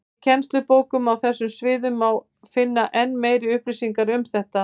Í kennslubókum á þessum sviðum má finna enn meiri upplýsingar um þetta.